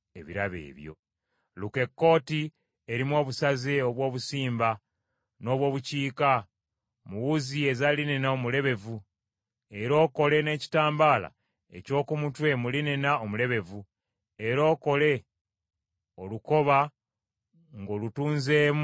“Luka ekkooti erimu obusaze obw’obusimba n’obw’obukiika mu wuzi eza linena omulebevu, era okole n’ekitambaala eky’oku mutwe mu linena omulebevu, era okole olukoba ng’olutunzeemu amajjolobera.